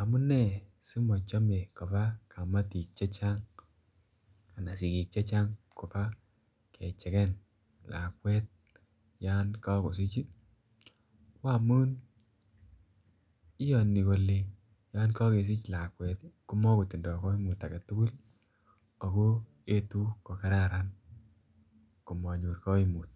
Amune simochome kobaa kamatik chechang ana sigik chechang kobaa kecheken lakwet yon kogosich ii ko amun iyoni kole yon kogesich komo kotindo koimut agetugul ako etu ko kararan komonyor koimut